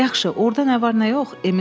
Yaxşı, orada nə var nə yox?